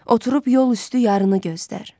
Oturub yol üstü yarını gözdər.